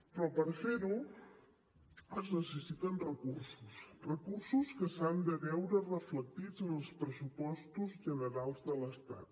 però per fer ho es necessiten recursos recursos que s’han de veure reflectits en els pressupostos generals de l’estat